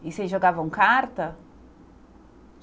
E vocês jogavam carta?